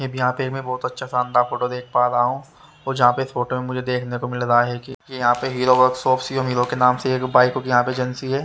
यहां पर मैं बहुत अच्छा शानदार फोटो देख पा रहा हूं और जहां पे इस फोटो मुझे देखने को मिल रहा है कि यहां पे हीरो वर्कशाॅप शिवम हीरो के नाम से एक बाइक एजेंसी है।